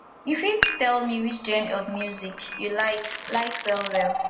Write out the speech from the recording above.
you fit tell me which genre of music you like like well well